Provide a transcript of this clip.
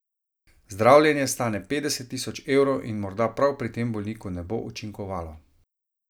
Zdravljenje stane petdeset tisoč evrov in morda prav pri tem bolniku ne bo učinkovalo.